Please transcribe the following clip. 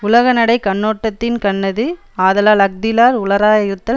உலகநடை கண்ணோட்டத்தின்கண்ணது ஆதலால் அஃதில்லார் உளராயிருத்தல்